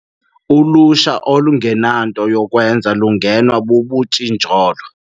Ulutsha olungenanto yokwenza lungenwa bubutshijolo.